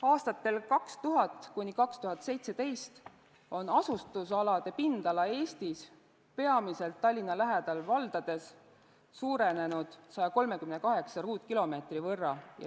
Aastatel 2000–2017 on asustusalade pindala Eestis, peamiselt Tallinna lähedal valdades, suurenenud 138 ruutkilomeetri võrra.